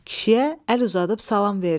Kişiyə əl uzadıb salam verdi.